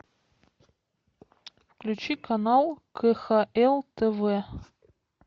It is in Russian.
включи канал кхл тв